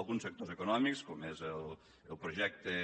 alguns sectors econòmics com és el projecte